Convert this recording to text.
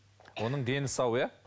оның дені сау иә